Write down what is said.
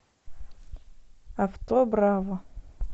авто браво